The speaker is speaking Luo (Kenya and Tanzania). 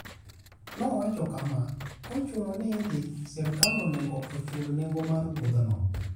Nowacho kama: "Ka ochuno ni idhi, sirkal onego ochul nengo mar wuodhino.